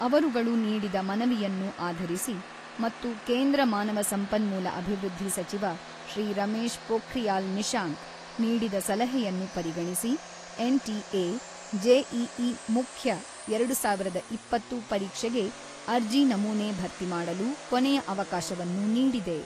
ಅವರುಗಳು ನೀಡಿದ ಮನವಿಯನ್ನು ಆಧರಿಸಿ ಮತ್ತು ಕೇಂದ್ರ ಮಾನವ ಸಂಪನ್ಮೂಲ ಅಭಿವೃದ್ಧಿ ಸಚಿವ ಶ್ರೀ ರಮೇಶ್ ಪೋಖ್ರಿಯಾಲ್ ನಿಶಾಂಕ್, ನೀಡಿದ ಸಲಹೆಯನ್ನು ಪರಿಗಣಿಸಿ ಎನ್ ಟಿ ಎ, ಜೆಇಇ ಮುಖ್ಯ ಎರಡು ಸಾವಿರದ ಇಪ್ಪತ್ತು ಪರೀಕ್ಷೆಗೆ ಅರ್ಜಿ ನಮೂನೆ ಭರ್ತಿಮಾಡಲು ಕೊನೆಯ ಅವಕಾಶವನ್ನು ನೀಡಿದೆ.